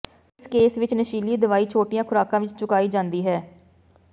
ਇਸ ਕੇਸ ਵਿੱਚ ਨਸ਼ੀਲੀ ਦਵਾਈ ਛੋਟੀਆਂ ਖੁਰਾਕਾਂ ਵਿੱਚ ਚੁਕਾਈ ਜਾਂਦੀ ਹੈ